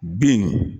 Bin